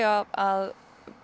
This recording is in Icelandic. að